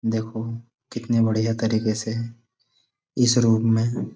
देखो कितने बढ़िया तरीके से इस रूम में--